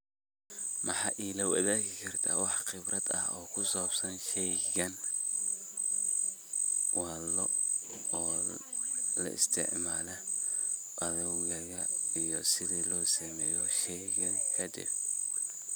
Maa ila wadagi karta wax khibrad oo kusabsan sheygan ,waa loc oo laisticmala adogaga iyo sidha loo sameyo deh.